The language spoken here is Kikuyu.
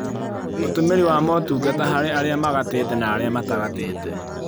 Ũtũmĩri wa motungata harĩ arĩa magatĩte na arĩa matagatĩte